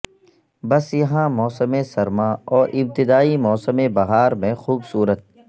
بس یہاں موسم سرما اور ابتدائی موسم بہار میں خوبصورت